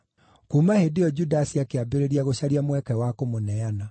Kuuma hĩndĩ ĩyo Judasi akĩambĩrĩria gũcaria mweke wa kũmũneana.